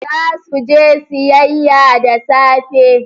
Za su je siyayya da safe.